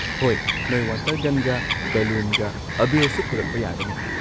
ꯍꯣꯏ, ꯅꯣꯏ ꯋꯥꯇꯔ ꯒꯟꯒ ꯕꯦꯂꯨꯟꯒ, ꯑꯥꯕꯦꯔꯁꯨ ꯄꯨꯔꯛꯄ ꯌꯥꯒꯅꯤ꯫